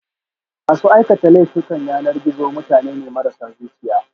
masu aikata laifukan yanar gizo mutane ne marasa zuciya